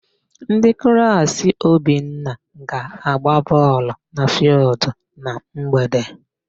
Ndị klaasị Obinna ga-agba bọọlụ na fịịldụ na mgbede.